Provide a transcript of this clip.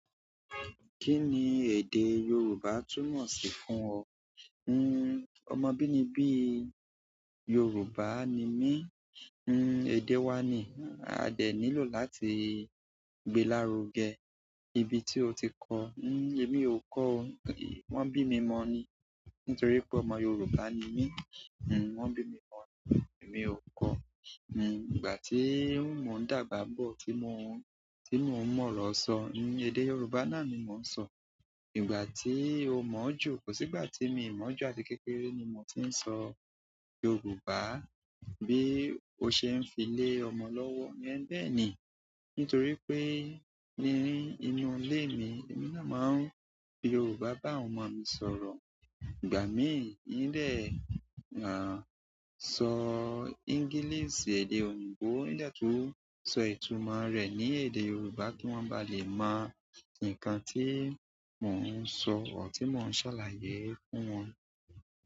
Kí ni èdè Yorùbá túnmọ̀ sí fún ọ? Nnn, ọmọ bí níbí Yorùbá ni mí. Nnn, èdè wa ni. A dẹ̀ nílò láti gbe lárugẹ ibi tí o ti kọ́. Nnn, èmi ò kọ o, wọ́n bí mi mọ̀ ọ́n ni. Nítorí pé ọmọ Yorùbá ni mí. Nnn, wọ́n bí mi mọ̀ ọ́n ni, èmi ò kọ́. Nnn, ìgbà tíí mo ń dàgbà bọ̀ tí mo, tí mo ń mọ̀ ọ́n ọ̀rọ̀ sọ, ní èdè Yorùbá náà ni mò ń sọ. Ìgbà tí i o mọ̀ ọ́ jù, kò sí ìgbà tí mi ò mọ̀ ọ́ jù, àti kékeré ni mò tí ń sọ Yorùbá bí ó ṣe ń fi lé ọmọ lọ́wọ́, ẹ̀n bẹ́ẹ̀ ni. Nítorí wí pé ní inú ilé mi èmi nàá máa ń fi Yorùbá bá àwọn ọmọ mi sọ̀rọ̀. Ìgbà míì n dẹ̀, àń sọ English, èdè òyìnbó, n dẹ̀ tún ń sọ ìtumọ̀ rẹ̀ ní èdè Yorùbá kí wọ́n bá lè mọ nǹkan tí mò ń sọ or ti mò ń ṣàlàyé fún wọn.